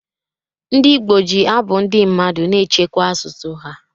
Ndị Igbo ji abụ ndị mmadụ na-echekwa asụsụ ha.